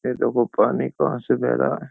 ये देखो पानी कहाँ से बह रहा है।